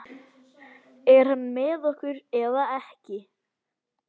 Er hann með okkur eða ekki?